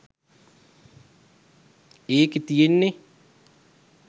ඒකෙ තියෙන්නෙ